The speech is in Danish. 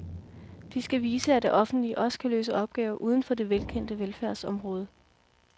De skal vise, at det offentlige også kan løse opgaver uden for det velkendte velfærdsområde.